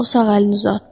O sağ əlini uzatdı.